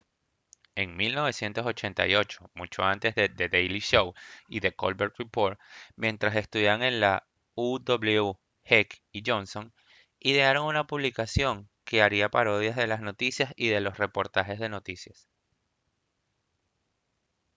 en 1988 mucho antes de the daily show y the colbert report mientras estudiaban en la uw heck y johnson idearon una publicación que haría parodias de las noticias y de los reportajes de noticias